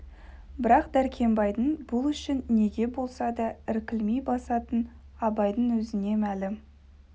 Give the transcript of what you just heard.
бірақ дәркембайдың бұл үшін неге болса да іркілмей басатыны абайдың өзіне мәлім